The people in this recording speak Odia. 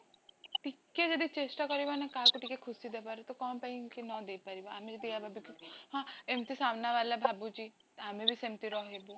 ଟିକେ ଜଦି ଚେଷ୍ଟା କରିବା ନା କାହାକୁ ଜଦି ଖୁସି ଦବାର ତ କଣ ପାଇଁକି ନଦେଇ ପାରିବ ଆମେ ଯଦି ଏବେ ହଁ ଏମତି ସାମନା ବାଲା ଭାବୁଛି ଆମେବି ସେମତି ରହିବୁ